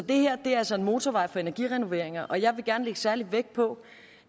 det her er altså en motorvej for energirenoveringer og jeg vil gerne lægge særlig vægt på